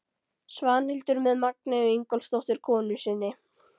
Svanhildar með Magneu Ingólfsdóttur konu sinni.